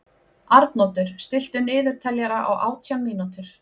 Arnoddur, stilltu niðurteljara á átján mínútur.